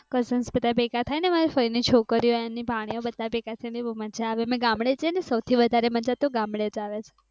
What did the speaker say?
cousins બધા ભેગા થાઈ ને અમારા ફઈ ની છોકરી ઑ અને ભાણી ઑ બધા ભેગા થઇ ને બોવ મજા આવે અને ગામડે સૌથી વધારે તો ગામડે જ મજા આવે